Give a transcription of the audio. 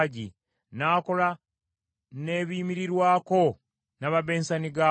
N’akola n’ebiyimirirwako, n’amabensani gaakwo,